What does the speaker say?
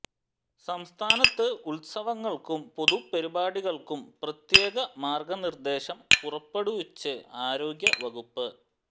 സംസ്ഥാനത്ത് ഉത്സവങ്ങൾക്കും പൊതുപരിപാടികൾക്കും പ്രത്യേക മാർഗനിർദേശം പുറപ്പെടുവിച്ച് ആരോഗ്യ വകുപ്പ്